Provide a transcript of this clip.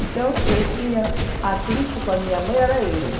Então, atrito com a minha mãe era esse.